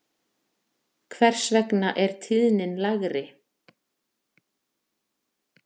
Hvers vegna er tíðnin lægri?